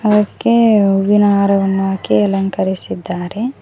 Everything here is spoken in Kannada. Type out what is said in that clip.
ಅವಕ್ಕೆ ಹೂವಿನ ಹಾರವನ್ನು ಹಾಕಿ ಅಲಂಕರಿಸಿದ್ದಾರೆ.